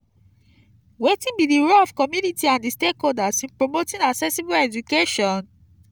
wetin be di role of community and di stakeholders in promoting accessible education?